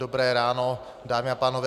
Dobré ráno, dámy a pánové.